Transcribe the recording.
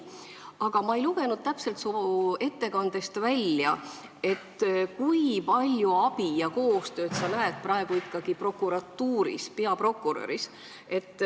Aga ma ei lugenud su ettekandest täpselt välja, kui palju abistamise ja koostöö tegemise tahet sa näed praegu ikkagi prokuratuuris, kui palju on seda peaprokuröril.